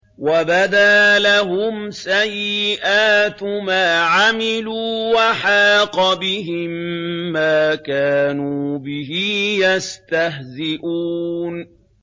وَبَدَا لَهُمْ سَيِّئَاتُ مَا عَمِلُوا وَحَاقَ بِهِم مَّا كَانُوا بِهِ يَسْتَهْزِئُونَ